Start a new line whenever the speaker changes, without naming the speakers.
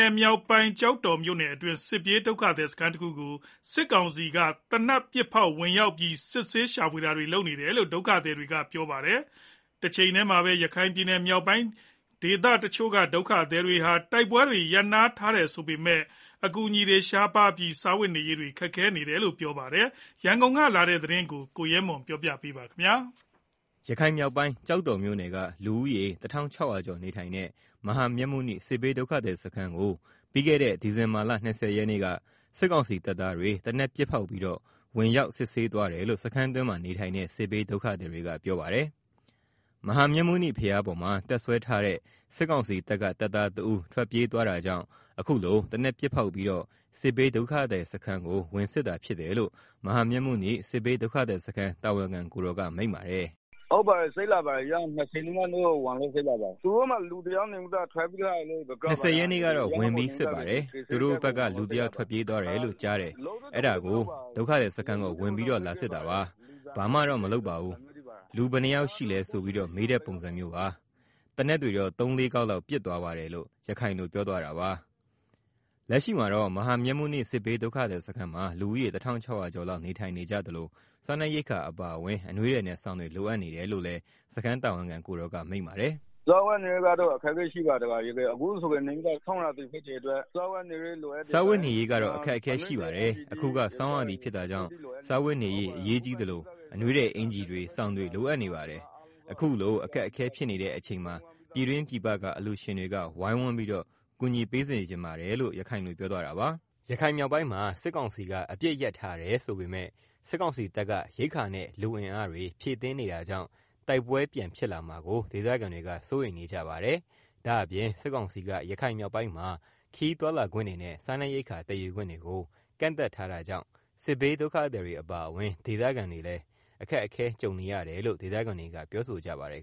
င်မြောက်ပိုင်း ကျောက်တော်မြို့နယ်တွင်း စစ်ပြေးဒုက္ခသည် စခန်းတခုကို စစ်ကောင်စီက သေနတ်ပစ်ဖောက်ဝင်ရောက်ပြီး စစ်ဆေးရှာဖွေတာတွေ လုပ်ခဲ့တယ်လို့ ဒုက္ခသည်တွေက ပြောပါတယ်။ တချိန်တည်းမှာ ရခိုင်မြောက်ပိုင်းဒေသ ဒုက္ခသည်တွေဟာ တိုက်ပွဲတွေရပ်နားနေတယ်ဆိုပေမယ့်၊ အကူအညီရှားပါးပြီး စားဝတ်နေရေးခက်ခဲနေတယ်လို့ပြောပါတယ်။ ရန်ကုန်ကလာတဲ့ သတင်းကို ကိုရဲမွန် က တင်ပြပေးပါမယ်။
ရခိုင်မြောက်ပိုင်း ကျောက်တော်မြို့နယ်က လူဦးရေ ၁၆၀၀ ကျော်နေထိုင်တဲ့ မဟာမြတ်မုနိ စစ်ဘေးဒုက္ခသည်စခန်းကို ပြီးခဲ့တဲ့ ဒီဇင်ဘာလ ၂၀ ရက်နေ့က စစ်ကောင်စီ တပ်သားတွေ သေနတ်ပစ်ဖောက်ပြီးတော့ ဝင်ရောက်စစ်ဆေးသွားတယ်လို့ စခန်းတွင်းနေထိုင်တဲ့ စစ်ဘေးဒုက္ခသည်တွေက ပြောပါတယ်။ မဟာမြတ်မုနိ ဘုရားပေါ်မှာ တပ်စွဲထားတဲ့ စစ်ကောင်စီတပ်က တပ်သားတဦး ထွက်ပြေးသွားတာကြောင့် အခုလို သေနတ်ပစ်ဖောက်ပြီးတော့ စစ်ဘေးဒုက္ခသည်စခန်းကို ဝင်စစ်တာဖြစ်တယ်လို့ မဟာမြတ်မုနိ စစ်ဘေးဒုက္ခသည်စခန်းတာဝန်ခံကိုယ်တော်က မိန့်ပါတယ်။ " ၂၀ရက် နေ့ကတော့ ဝင်လို့စစ်လာတယ်၊ သူတို့မှာ လူတယောက်ထွက်ပြေးသွားတယ် လို့ကြားတယ် ။ အဲဒါ ဒုက္ခသည်စခန်းကို ဝင်ပြီးတော့ လာစစ်တာ၊ ဘာမှတော့မလုပ်ဘူး ။ လူဘယ်နှစ်ယောက်ရှိလဲ ဆိုပြီးတော့ မေးတဲ့ပုံစံမျိုးပါ ။ သေနတ်တော့ သုံးလေး ခေါက် ပစ်သွားတယ်။” လို့ ရခိုင်လို ပြောသွားတာပါ။ လက်ရှိမှာတော့ မဟာမြတ်မုနိ စစ်ဘေးဒုက္ခသည်စခန်းမှာ လူဦးရေ ၁၆၀၀ကျော် လောက်နေထိုင်နေသလို စားနပ်ရိက္ခာ အပါအဝင် အနွေးထည်နဲ့ စောင်တွေလိုအပ်နေတယ်လို့လည်း စခန်းတာဝန်ခံ ကိုယ်တော်က မိန့်ပါတယ်။ “ စားဝတ်နေရေးကတော့ အခက်အခဲရှိပါတယ်။ အခုက ဆောင်းရာသီဖြစ်တာကြောင့် စားဝတ်နေရေး အရေးကြီးသလို အနွေးထည် အင်္ကျီတွေ စောင်တွေ လိုအပ်နေပါတယ်။ အခုလို အခက်အခဲဖြစ်နေတဲ့ အချိန်မှာ ပြည်တွင်းပြည်မ အလျှူရှင်တွေက ဝိုင်းဝန်းပြီးတော့ ကူညီပေးစေချင်ပါတယ်။” ရခိုင်မြောက်ပိုင်းမှာ စစ်ကောင်စီက အပစ်ရပ်ထားတယ်ဆိုပေမယ့် စစ်ကောင်စီတပ်က ရိက္ခာနဲ့ လူအင်အားတွေ ဖြည့်တင်းနေတာကြောင့် တိုက်ပွဲပြန်ဖြစ်လာမှာကိုဒေသခံတွေက စိုးရိမ်နေကြပါတယ်။ဒါ့အပြင် စစ်ကောင်စီက ရခိုင်မြောက်ပိုင်းမှာ ခရီးသွားလာခွင့်တွေနဲ့ စားနပ်ရိက္ခာသည်ယူခွင့်တွေကို ကန့်သတ်ထားတာကြောင့် စစ်ဘေးဒုက္ခသည်တွေ အပါအဝင် ဒေသခံတွေ အခက်ကြုံနေကြရတယ်လို့လည်း ဒေသခံတွေက ပြောဆိုကြပါတယ်